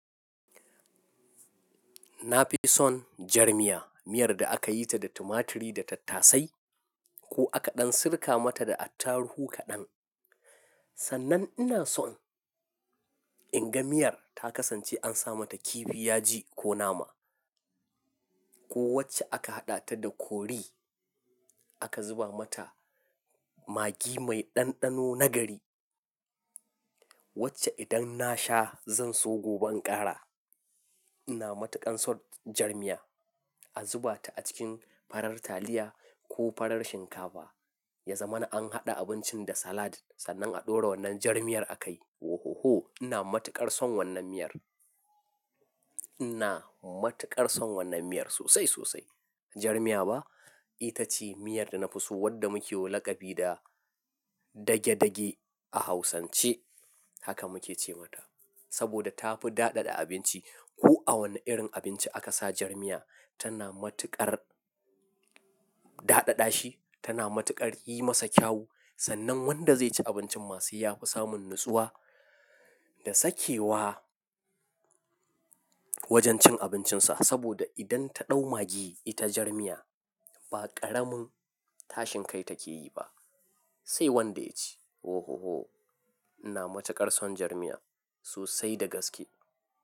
Na fi son jar miya, miyar da aka yi ta da tumaturi da tattasai ko aka ɗan sirka mata da attaruhu kaɗan. Sannan ina son in ga miyar ta kasance an sa mata kifi, yaji ko nama ko wacce aka haɗa ta da kori aka zuba mata maggi mai ɗanɗano nagari. Wacce idan na sha zan so gobe in ƙara. Ina matuƙar son jar miya. A zuba ta a cikin farar taliya ko farar shinkafa. Ya zama an haɗa abincin da salad sannan a ɗora wannan jar miyar a kai. Oh, oh, oh! Ina matuƙar son wannan miyar. Ina matuƙar son wannan miyar sosai, sosai. Jar miya ba, ita ce miyar da na fi so wadda muke wa laƙabi da dage-dage a Hausance. Haka muke ce mata saboda ta fi daɗaɗa abinci. Ko a wane irin abinci aka sa jar miya, tana matuƙar daɗaɗashi, tana matuƙar yi masa kyau sannan wanda zai ci abincin masu yafi samun natsuwa da sakewa wajen cin abincinsa. Saboda idan ta ɗau magi ita jar miya ba ƙaramin tashin kai take yi ba, sai wanda ya ci. Ohoho Ina matuƙar son jar miya sosai da gaske.